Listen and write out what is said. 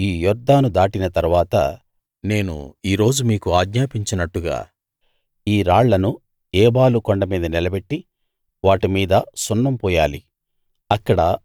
మీరు ఈ యొర్దాను దాటిన తరువాత నేను ఈ రోజు మీకు ఆజ్ఞాపించినట్టుగా ఈ రాళ్లను ఏబాలు కొండ మీద నిలబెట్టి వాటి మీద సున్నం పూయాలి